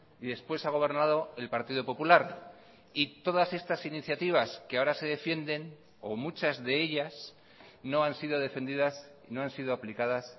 y después ha gobernado el partido popular y todas estas iniciativas que ahora se defienden o muchas de ellas no han sido defendidas no han sido aplicadas